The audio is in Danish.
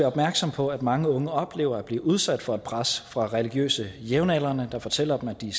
opmærksomme på at mange unge oplever at blive udsat for et pres fra religiøse jævnaldrende der fortæller dem at de